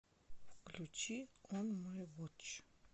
включи он май вотч